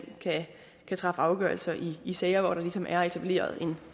kan træffe afgørelse i sager hvor der ligesom er etableret en